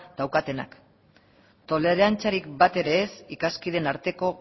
daukatenak tolerantziarik bat ere ez ikaskideen arteko